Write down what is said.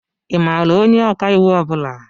Ị maara onye ọkàiwu ọ bula?